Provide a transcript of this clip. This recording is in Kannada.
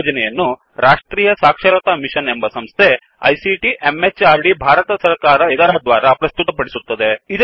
ಈ ಯೋಜನೆಯನ್ನು ರಾಷ್ಟ್ರೀಯ ಸಾಕ್ಷರತಾ ಮಿಶನ್ ಎಂಬ ಸಂಸ್ಥೆ ಐಸಿಟಿ ಎಂಎಚಆರ್ಡಿ ಭಾರತ ಸರಕಾರ ಇದರ ದ್ವಾರಾ ಪ್ರಸ್ತುತಪಡಿಸುತ್ತಿದೆ